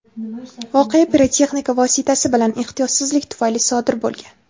voqea pirotexnika vositasi bilan ehtiyotsizlik tufayli sodir bo‘lgan.